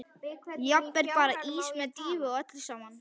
Jafnvel bara ís með dýfu og öllu saman.